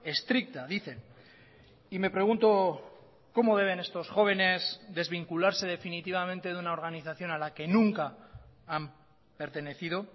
estricta dicen y me pregunto cómo deben estos jóvenes desvincularse definitivamente de una organización a la que nunca han pertenecido